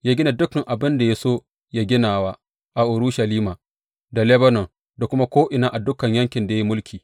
Ya gina duk abin da ya so yă ginawa a Urushalima, da Lebanon, da kuma ko’ina a dukan yankin da ya yi mulki.